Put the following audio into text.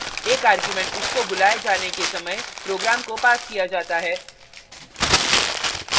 * एक argument उसको बुलाये जाने के समय program को passed किया जाता है